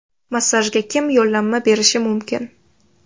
Massajga kim yo‘llanma berishi mumkin?